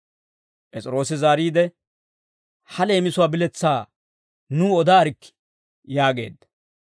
P'es'iroosi zaariide, «Ha leemisuwaa biletsaa nuw odaarikkii» yaageedda.